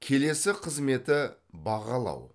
келесі қызметі бағалау